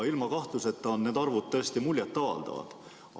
Ilma kahtluseta on need arvud tõesti muljet avaldavad.